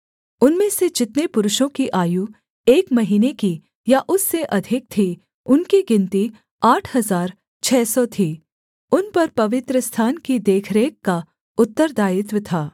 उनमें से जितने पुरुषों की आयु एक महीने की या उससे अधिक थी उनकी गिनती आठ हजार छः सौ थी उन पर पवित्रस्थान की देखरेख का उत्तरदायित्व था